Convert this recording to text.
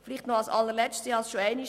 Noch etwas ganz zum Schluss